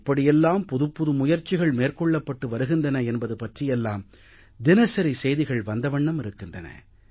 எப்படியெல்லாம் புதுப்புது முயற்சிகள் மேற்கொள்ளப்பட்டு வருகின்றன என்பது பற்றியெல்லாம் தினசரி செய்திகள் வந்தவண்ணம் இருக்கின்றன